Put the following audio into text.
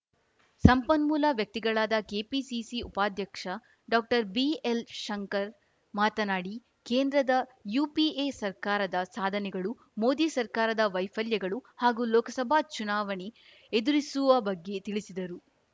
ಸಂಪನ್ಮೂಲ ವ್ಯಕ್ತಿಗಳಾದ ಕೆಪಿಸಿಸಿ ಉಪಾಧ್ಯಕ್ಷ ಡಾಕ್ಟರ್ ಬಿಎಲ್‌ ಶಂಕರ್‌ ಮಾತನಾಡಿ ಕೇಂದ್ರದ ಯುಪಿಎ ಸರ್ಕಾರದ ಸಾಧನೆಗಳು ಮೋದಿ ಸರ್ಕಾರದ ವೈಫಲ್ಯಗಳು ಹಾಗೂ ಲೋಕಸಭಾ ಚುನಾವಣೆ ಎದುರಿಸುವ ಬಗ್ಗೆ ತಿಳಿಸಿದರು